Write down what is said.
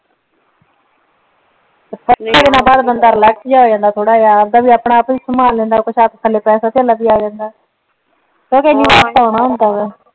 ਪਰ ਬੰਦਾ ਰਿਲੈਕਸ ਜੀਆ ਹੋ ਜਾਂਦਾ ਥੋੜਾ ਜੀਆ ਓਦਾ ਵੀ ਆਪਣਾ ਆਪ ਵੀ ਸੰਭਾਲ ਲੈਂਦਾ ਕੁਛ ਹੱਥ ਪੈਸੇ ਤੇਲਾ ਵੀ ਆ ਜਾਂਦਾ